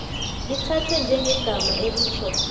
lithathwe njengegama elitjho